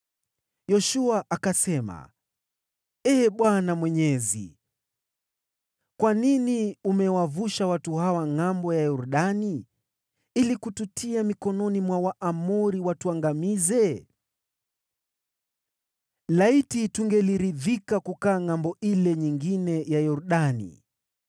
Yoshua akasema, “Ee Bwana Mwenyezi, kwa nini umewavusha watu hawa ngʼambo ya Yordani ili kututia mikononi mwa Waamori watuangamize? Laiti tungeliridhika kukaa ngʼambo ile nyingine ya Yordani!